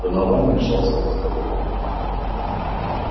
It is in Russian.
донован вмешался в разговор